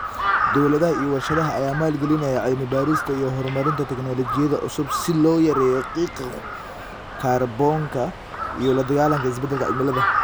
Dawladaha iyo warshadaha ayaa maalgelinaya cilmi baarista iyo horumarinta tignoolajiyada cusub si loo yareeyo qiiqa kaarboonka iyo la dagaallanka isbedelka cimilada.